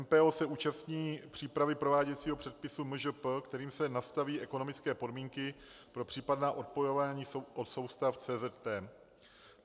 MPO se účastní přípravy prováděcího předpisu MŽP, kterým se nastaví ekonomické podmínky pro případná odpojování od soustav CZT.